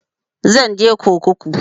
Zan je kurkuku